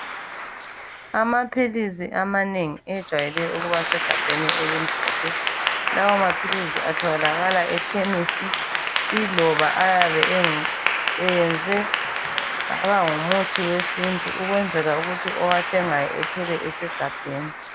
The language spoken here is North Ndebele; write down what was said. Amaphilisi amanengi ejwayele ukuba segabheni elimhlophe. Lawa maphilisi atholakala ekhemisi iloba ayabe engu eyenzwe kwaba ngumuthi wesintu ukwenzela ukuthi owathengayo ethole esegabheni.